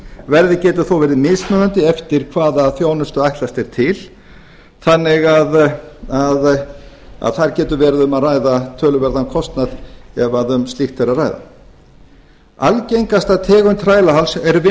verðið getur þó verið mismunandi eftir hvaða þjónustu ætlast er til þannig þar getur verið um að ræða töluverðan kostnað ef um slíkt er að ræða algengasta tegund þrælahalds er